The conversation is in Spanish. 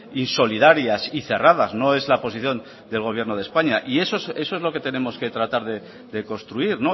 insolidarias y cerradas no es la posición del gobierno de españa y eso es lo que tenemos que tratar de construir